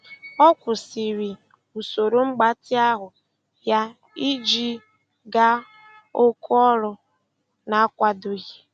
Ọ kwụsịrị usoro mgbatị ahụ ya iji gaa oku ọrụ na-akwadoghị.